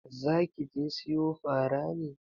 Zaki je siyo fara ne?